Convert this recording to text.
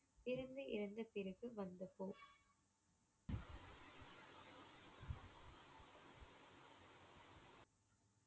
இருந்து இறந்த பிறகு வந்தப்போ